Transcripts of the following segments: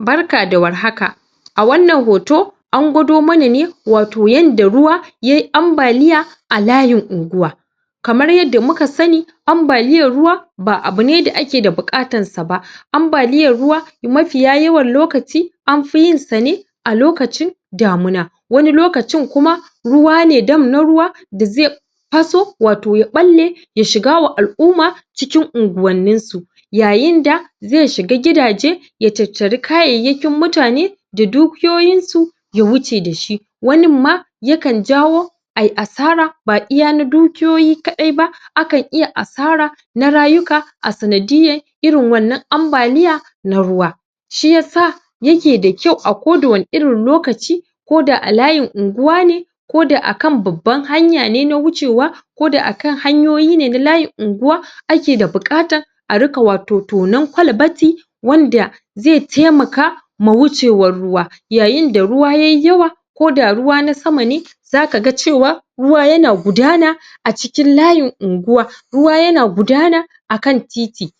Barka da warhaka a wannan hoto an gwado mana ne wato yanda ruwa yayi ambaliya a alayin unguwa kamar yanda muka sani ambaliyar ruwa ba abune da ake da buƙatansa ba ambaliyar ruwa mafiya yawan lokaci anfi yinsa ne a lokacin damuna wani lokacin kuma ruwa ne dam na ruwa da zai faso wato ya ɓalle ya shiga wa al'uma cikin unguwanninsu yayinda zai shiga gidaje ya tatari kayayyakin mutane da dukiyoyinsu ya wuce da shi waninma yakan jawo ayi asara ba iya na dukiyoyi kaɗai ba akan iya asara na rayuka a sanadiyyan irin wannan ambaliya na ruwa shiyasa yake da kyau a koda wani irin lokaci ko da alayin unguwa ne ko da akan babban hanya ne na wucewa ko da akan hanyoyine na layin unguwa ake da buƙatan a riƙa wato tonan kwalbati wanda zai taimaka ma wucewan ruwa yayinda ruwa yayi yawa ko da ruwa na sama ne zaka ga cewa ruwa yana gudana a cikin layin unguwa ruwa yana gudana akan titi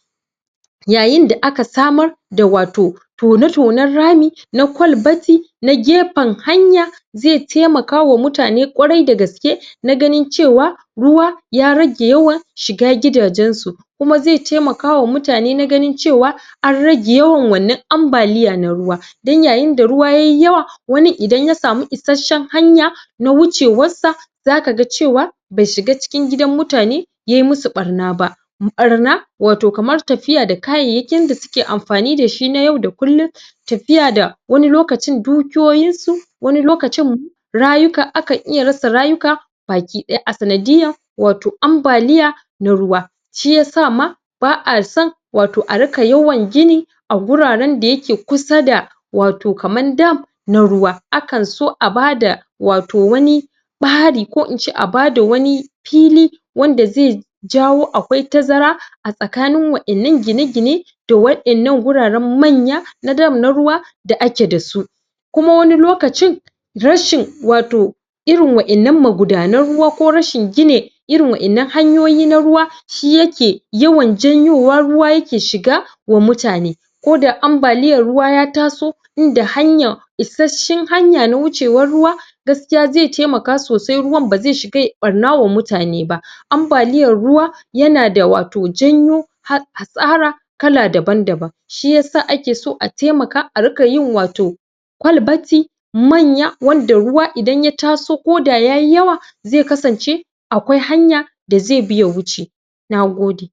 yayida aka samar da wato tone-tonen rami na kwalbati na gefen hanya zai taimaka wa mutane ƙwarai da gaske na ganin cewa ruwa ya rage yawan shiga gidajensu kuma zai taimaka wa mutane na ganin cewa an rage yawan wannan ambaliya na ruwa dan yayinda ruwa yayi yawa wanin idan ya samu isasshen hanya na wucewassa zaka ga cewa bai shiga cikin gidan mutane yayi musu ɓarna ba ɓarna wato kamar tafiya da kayayakin da suke amfani da shi na yau da kullum tafiya da wani lokacin dukiyoyinsu wani lokacin rayuka akan iya rasa rayuka bakiɗaya a sanadiyyan wato ambaliya na ruwa shiyasa ma ba a san wato a riƙa yawan gini a guraren da yake kusa da wato kaman dam na uwa akan so a bada wato wani ɓari ko in ce a bada wani fili wanda zai jawo akwai tazara a tsakanin wa'innan gine-gine da wa'innan guraren manya na dam na ruwa da ake da su kuma wani lokacin rashin wato irin wa'innan magudanan ruwa ko rashin gine irin wa'inan hanyoyi na ruwa shi yake yawan janyowa ruwa yake shiga wa mutane ko da ambaliyar ruwa ya taso inda hanya isasshen hanya na wucewan ruwa gaskiya zai taimaka sosai ruwan ba zai shiga yai ɓarna wa mutane ba ambaliyar ruwa yana d wato janyo? hasara kala daban-daban shiyasa ake so a taimaka a riƙa yin wato kwalbati manya wanda ruwa idan ya taso koda yayi yawa zai kasance akwai hanya da zai bi ya wuce na gode.